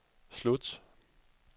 slut